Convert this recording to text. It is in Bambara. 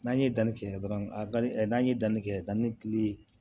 N'an ye danni kɛ dɔrɔn ali ɛ n'an ye danni kɛ danni kili